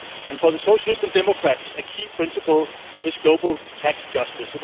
For the Socialist and Democrats, a key principle is global tax justice.